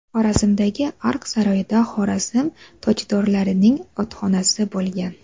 Xorazmdagi Ark saroyida Xorazm tojdorlarining otxonasi bo‘lgan.